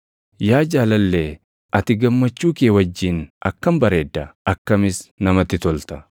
Yaa jaalallee ati gammachuu kee wajjin akkam bareedda; akkamis namatti tolta!